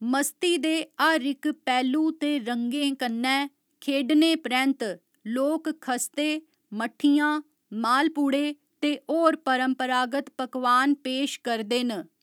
मस्ती दे हर इक पैह्‌लु ते रंगें कन्नै खेढने परैंत्त, लोक खस्ते, मट्ठियां, माह्‌लपूड़े ते होर परंपरागत पकवान पेश करदे न।